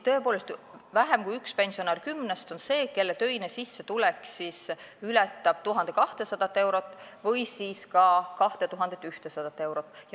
Tõepoolest, vähem kui üks pensionär kümnest on see, kelle töine sissetulek ületab 1200 eurot või ka 2100 eurot.